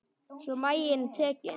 Svo var maginn tekinn.